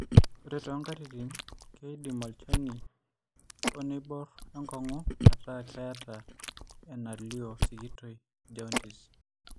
Ore toonkatitin, Keidim olchoni oneibor enkong'u aataa keeta enalioo sikitoi (jaundice).